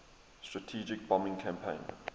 strategic bombing campaign